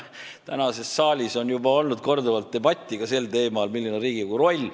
Täna on saalis juba korduvalt olnud debatti ka sel teemal, milline on Riigikogu roll.